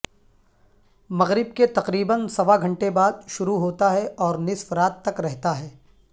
مغرب کےتقریبا سوا گھنٹے بعد شروع ہوتا ہے اور نصف رات تک رہتا ہے